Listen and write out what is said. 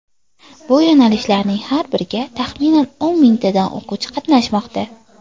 Bu yo‘nalishlarning har biriga taxminan o‘n mingtadan o‘quvchi qatnashmoqda.